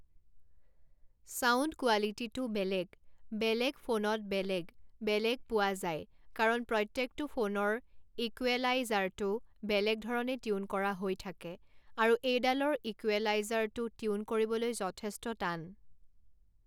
sound কোৱালিটীটো বেলেগ বেলেগ ফোনত বেলেগ বেলেগ পোৱা যায় কাৰণ প্ৰত্যেকটো ফোনৰ ইকুৱেলাইজাৰটো বেলেগ ধৰণে টিউন কৰা হৈ থাকে আৰু এইডালৰ ইকুেৱেলাইজাৰটো টিউন কৰিবলৈ যথেষ্ট টান